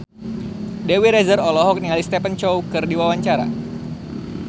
Dewi Rezer olohok ningali Stephen Chow keur diwawancara